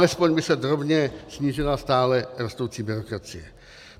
Alespoň by se drobně snížila stále rostoucí byrokracie.